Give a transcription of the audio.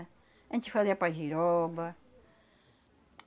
A gente fazia pajiroba.